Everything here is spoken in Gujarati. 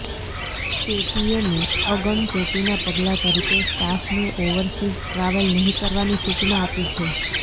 પેટીએમે અગમચેતીનાં પગલાં તરીકે સ્ટાફને ઓવરસીઝ ટ્રાવેલ નહીં કરવાની સૂચના આપી છે